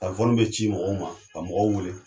be ci mɔgɔw ma ka mɔgɔw wele.